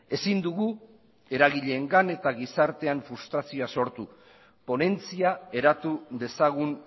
ezin dugu eragileengan eta gizartean frustrazioa sortu ponentzia eratu dezagun